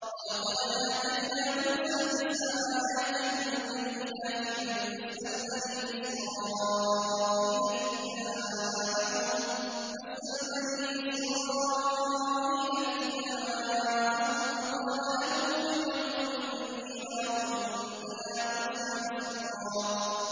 وَلَقَدْ آتَيْنَا مُوسَىٰ تِسْعَ آيَاتٍ بَيِّنَاتٍ ۖ فَاسْأَلْ بَنِي إِسْرَائِيلَ إِذْ جَاءَهُمْ فَقَالَ لَهُ فِرْعَوْنُ إِنِّي لَأَظُنُّكَ يَا مُوسَىٰ مَسْحُورًا